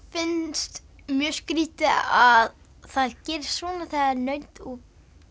finnst mjög skrítið að það gerist svona þegar naut og